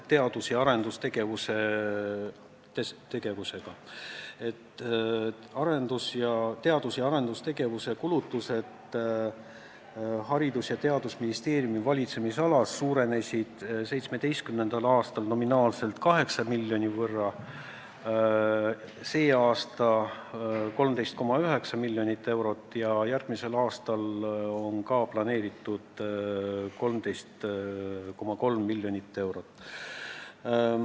Teadus- ja arendustegevuse kulutused Haridus- ja Teadusministeeriumi valitsemisalas suurenesid 2017. aastal nominaalselt 8 miljoni võrra, sel aastal 13,9 miljoni euro võrra ja järgmisel aastal on planeeritud kasv 13,3 miljonit eurot.